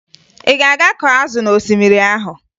Ị ga-aga kọọ azụ n'osimiri ahụ?